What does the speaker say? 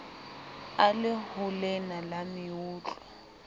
a le holena la meutlwa